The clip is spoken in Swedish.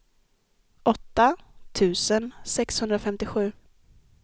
åtta tusen sexhundrafemtiosju